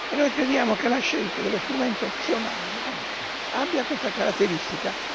Noi crediamo che la scelta dello strumento opzionale abbia questa caratteristica.